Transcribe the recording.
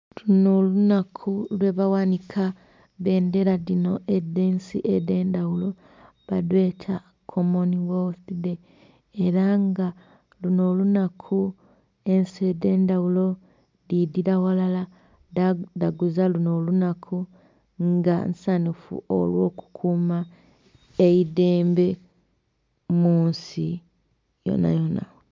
Luno olunaku lweba ghanika bbendhera dhino edh'ensi edhendhaghulo balweta "common wealthy day" era nga luno olunaku ensi edhendhaghulo dhidhira ghalala dhadhaguza luno olunaku nga nsanhufu olwo kukuma eidhembe munsi yoonayoona.